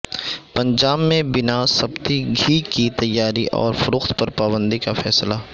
پنجاب میں بناسپتی گھی کی تیاری اور فروخت پر پابندی کا فیصلہ